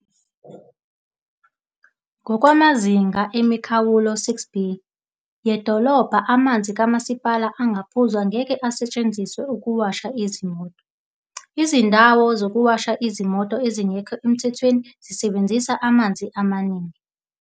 "Ngokwamazinga emikhawulo 6B yedolobha, amanzi kama sipala angaphuzwa ngeke asetshenziswe ukuwasha izimoto. Izindawo zokuwasha izimoto ezingekho emthethweni zisebenzisa amanzi amaningi."